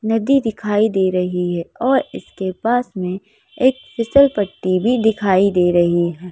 नदी दिखाई दे रही है और इसके पास में एक फिसलपट्टी भी दिखाई दे रही है।